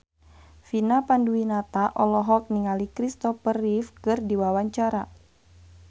Vina Panduwinata olohok ningali Kristopher Reeve keur diwawancara